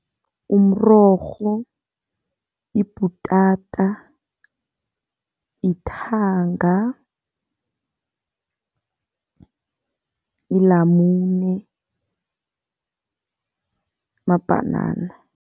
Umrorho, ibhutata, ithanga, ilamune, mabhanana.